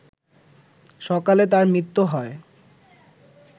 সকালে তার মৃত্যু হয়